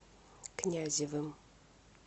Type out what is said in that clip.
князевым